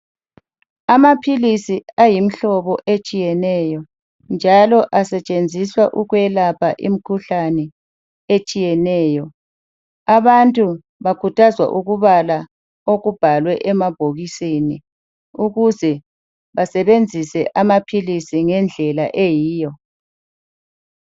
Amaphilisi ayimihlobo etshiyeneyo njalo asetshenziswa ukwelapha imikhuhlane etshiyeneyo abantu bakhuthazwa ukubala okubhalwe emabhokisini ukuze basebenzise amaphilisi ngendlela eyiyo.